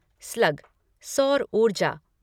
slug सौर ऊर्जा